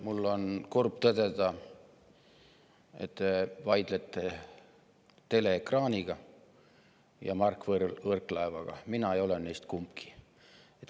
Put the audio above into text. Mul on kurb tõdeda, et te vaidlete teleekraaniga ja Mart Võrklaevaga – mina ei ole neist kumbki.